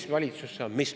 Mis valitsus see on?